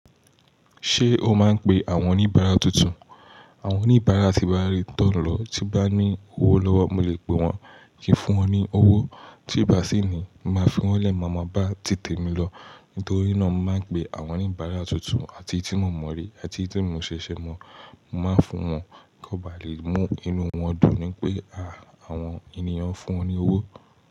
Ṣé o máa ń pe àwọn oníbàárà tuntun? Àwọn oníbàárà tí bá rí tán lọ, tí bá ní owó lọ́wọ́, mo lè pe wọ́n kí ń fún ọ ní owó. Tí ì bá sì ní, máa fún wọ́n lẹ́mọ́ọ̀bá ti tèmi lọ. Nítorí náà, mo máa ń pe àwọn oníbàárà tuntun àti tí mo mọ̀ rí, àti tí mo ṣẹ̀ṣẹ̀ mọ̀, mo máa fún wọn kí wọ́n ba lè mú inú wọn dùn pé, "à, àwọn ènìyàn fún wọn ní owó."